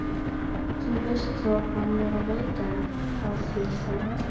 þú veist það, hann er að leita að þér þá?